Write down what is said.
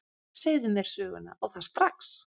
Segðu mér söguna, og það strax.